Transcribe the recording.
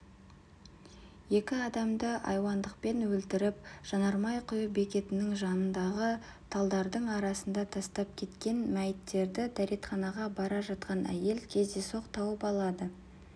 екі адамды айуандықпен өлтіріп жанармай құю бекетінің жанындағы талдардың арасына тастап кеткен мәйіттерді дәретханаға бара жатқанда әйел кездейсоқ тауып алады